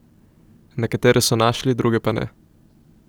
Nekatere so našli, druge pa ne.